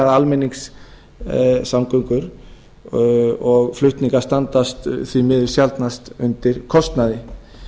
að almenningssamgöngur og flutningar standa því miður sjaldnast undir kostnaði